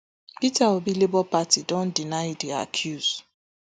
peter obi labour party don deny di accuse